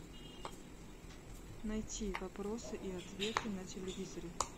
найти вопросы и ответы на телевизоре